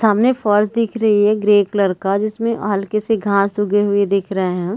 सामने फर्श दिख रही है ग्रे कलर का जिसमे हल्के से घास उगे हुए दिख रहै है।